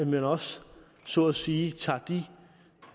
man også så at sige tager de